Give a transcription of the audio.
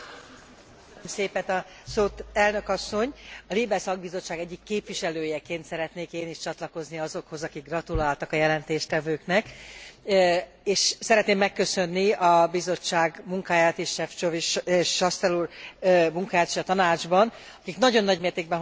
A LIBE szakbizottság egyik képviselőjeként szeretnék én is csatlakozni azokhoz, akik gratuláltak a jelentéstevőknek, és szeretném megköszönni a Bizottság munkáját és Šefčovič és Chastel úr munkáját is a Tanácsban, akik nagyon nagy mértékben hozzájárultak ahhoz, hogy egy jó,